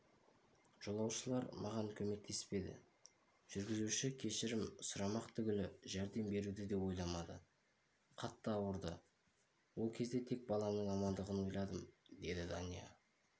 жолаушылар маған көмектеспеді жүргізуші кешірім сұрамақ түгілі жәрдем беруді де ойламады қатты ауырды ол кезде тек баламның амандығын ойладым деді дания